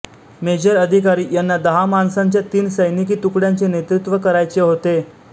major अधिकारी यांना दहा माणसांच्या तीन सैनिकी तुकड्यांचे नेतृत्व करायचे होते